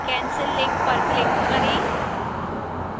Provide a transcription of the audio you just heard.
cancel link पर click करें